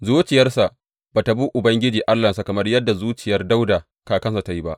Zuciyarsa ba tă bi Ubangiji Allahnsa, kamar yadda zuciyar Dawuda kakansa ta yi ba.